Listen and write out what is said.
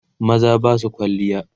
maza Basu kwalliya